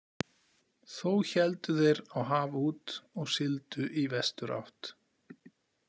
Þó héldu þeir á haf út og sigldu í vesturátt.